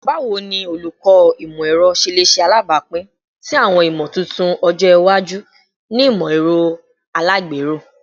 Bawo ni Olukọ Imọ-ẹrọ ṣe le ṣe alabapin si awọn imotuntun ọjọ iwaju ni imọ-ẹrọ alagbero?